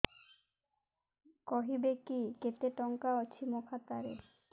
କହିବେକି କେତେ ଟଙ୍କା ଅଛି ମୋ ଖାତା ରେ